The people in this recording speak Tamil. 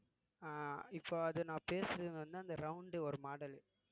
அஹ் இப்ப அது நான் பேசறது வந்து அந்த round ஒரு model